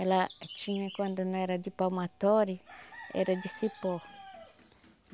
Ela tinha, quando não era de palmatória, era de cipó.